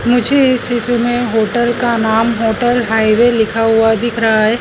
मुझे इस चित्र में होटल का नाम होटल हाईवे लिखा हुआ दिख हुआ रहा है।